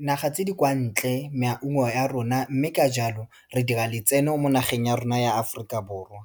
dinaga tse di kwa ntle maungo a rona, mme ka jalo re dira letseno mo nageng ya rona ya Aforika Borwa.